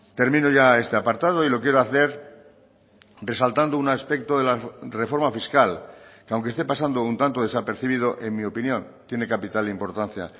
termino ya este apartado y lo quiero hacer resaltando un aspecto de la reforma fiscal que aunque esté pasando un tanto desapercibido en mi opinión tiene capital importancia